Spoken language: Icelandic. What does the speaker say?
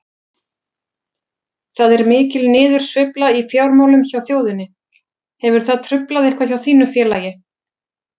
Það er mikil niðursveifla í fjármálum hjá þjóðinni, hefur það truflað eitthvað hjá þínu félagi?